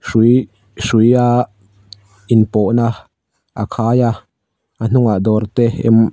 hrui hruia inpawhna a khai a a hnunah dawrte em --